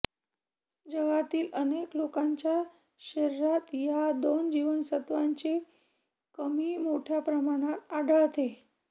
जगातील अनेक लोकांच्या शरिरात या दोन जीवनसत्त्वाची कमी मोठ्या प्रमाणात आढळते